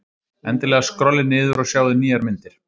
Endilega skrollið niður og sjáið nýjar myndir.